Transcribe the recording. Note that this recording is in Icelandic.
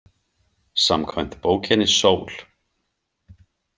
Samkvæmt bókinni Sól.